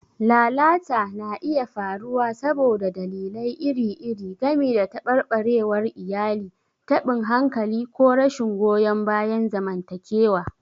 Lalata na iya faruwa saboda dalilai iri-iri, gami da tabarbarewar iyali, taɓin hankali, ko rashin goyon bayan zamantakewa.